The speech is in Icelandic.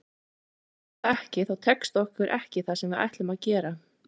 Ef þú gerir það ekki þá tekst okkur ekki það sem við ætlum að gera.